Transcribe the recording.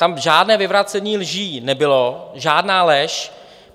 Tam žádné vyvracení lží nebylo, žádná lež.